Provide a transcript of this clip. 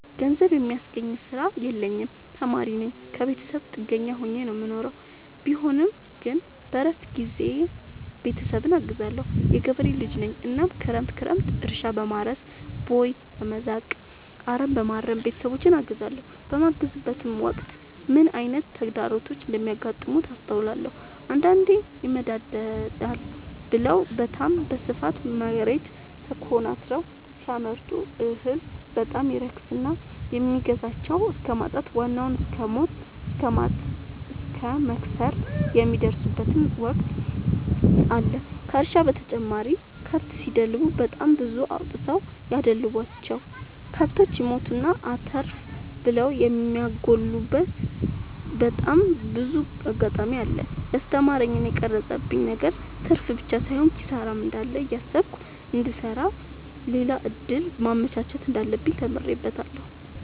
ገንዘብ የሚያስገኝ ስራ የለኝም ተማሪነኝ ከብተሰብ ጥገኛ ሆኜ ነው የምኖረው ቢሆንም ግን በረፍት ጊዜዬ ቤተሰብን አግዛለሁ። የገበሬ ልጅነኝ እናም ክረምት ክረምት እርሻ፣ በማረስ፣ ቦይ፣ በመዛቅ፣ አረምበማረም ቤተሰቦቼን አግዛለሁ። በማግዝበትም ወቅት ምን አይነት ተግዳሮቶች እንደሚገጥሙት አስተውያለሁ። አንዳንዴ ይመደዳል ብለው በታም በስፋት መሬት ተኮናትረው ሲያመርቱ እህል በጣም ይረክስና የሚገዛቸው እስከማጣት ዋናውን እስከማት እስከ መክሰር የሚደርሱበት ወቅት አለ ከእርሻ በተጨማሪ ከብት ሲደልቡ በጣም ብዙ አውጥተው ያደለቡቸው። ከብቶች ይሞቱና አተርፍ ብለው የሚያጎሉበቴ በጣም ብዙ አጋጣሚ አለ። የስተማረኝ እና የቀረፀብኝ ነገር ትርፍብቻ ሳይሆን ኪሳራም እንዳለ እያሰብኩ እንድሰራ ሌላ እድል ማመቻቸት እንዳለብኝ ተምሬበታለሁ።